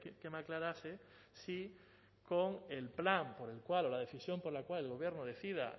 que me aclarase si con el plan por el cual o la decisión por la cual el gobierno decida